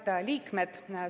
Head liikmed!